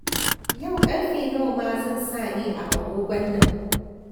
Yau ƙarfe nawa ma zan sa ne a agogon nan?